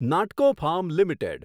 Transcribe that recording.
નાટકો farm limited